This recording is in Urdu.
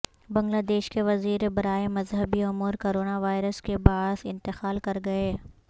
بنگلہ دیش کے وزیر برائے مذہبی امور کرونا وائرس کے باعث انتقال کر گئے